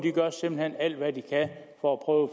der simpelt hen gør alt hvad de kan for at prøve